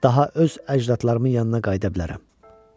Daha öz əcdadlarımın yanına qayıda bilərəm.